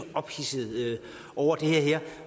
ophidset over det her